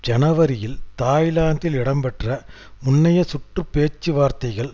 ஜனவரியில் தாய்லாந்தில் இடம்பெற்ற முன்னைய சுற்று பேச்சுவார்த்தைகள்